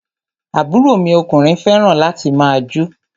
Àbúrò mi ọkùnrin fẹràn láti máà jó.